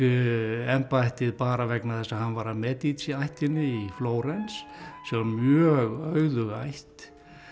embættið bara vegna þess að hann var af Medici ættinni í Flórens sem var mjög auðug ætt